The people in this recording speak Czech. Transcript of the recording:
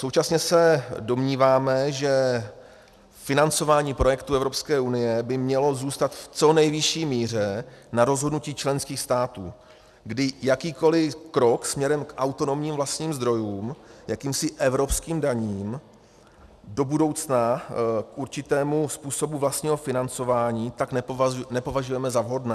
Současně se domníváme, že financování projektů EU by mělo zůstat v co nejvyšší míře na rozhodnutí členských států, kdy jakýkoli krok směrem k autonomním vlastním zdrojům, jakýmsi evropským daním, do budoucna k určitému způsobu vlastního financování, tak nepovažujeme za vhodné.